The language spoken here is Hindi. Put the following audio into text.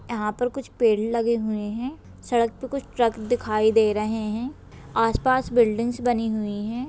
यहाँ पर कुछ पेड़ लगे हुए हैं। सड़क पर कुछ ट्रक दिखाई दे रहे हैं। आस-पास बिल्डिंगस बनी हुई हैं।